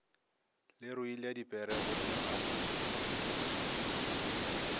le ruile dipere gommea mo